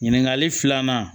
Ɲininkali filanan